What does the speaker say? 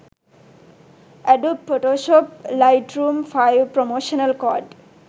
adobe photoshop lightroom 5 promotional code